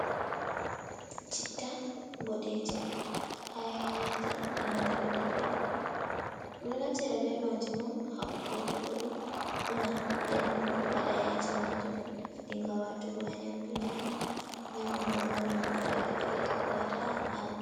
Citta boɗeeje haa Kaayanyaaji enanta bee daddawa ɓe ɗo naftira bee maajjum on hawtugo ɗum una nden waɗa yaaji maajum dinga waatugo haa nyamdu nyaama, nyamdu, ɗo una ɗum bto feere-feere waata haa haako.